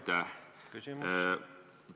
Aitäh!